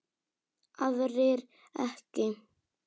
aðrir ekki